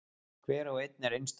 Hver og einn er einstakur.